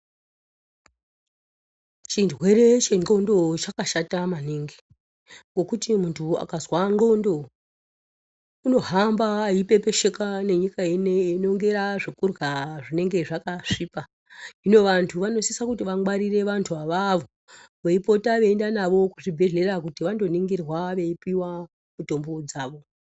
Chirwere chendxondo chakashata maningi, ngokuti muntu akazwa ndxondo, unohamba eipepesheka nenyika inoyi einongera zvekurya zvinenge zvakasvipa. Hino vantu vanosise kuti vangwarire vantu avavo veipota veienda navo kuzvibhedhlera kuti vandoningirwa veipiwa mitombo dzavo.